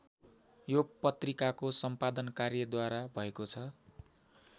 यो पत्रिकाको सम्पादन कार्य द्वारा भएको छ।